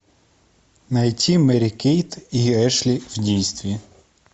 найти мэри кейт и эшли в действии